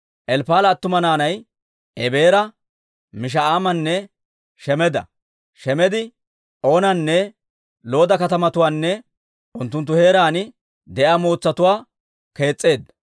Elppa'aala attuma naanay Ebeera, Misha'aamanne Shemeda. Shemedi Oonanne Looda katamatuwaanne unttunttu heeraan de'iyaa mootsatuwaa kees's'eedda.